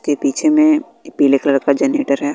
के पीछे में पीले कलर का जनरेटर है।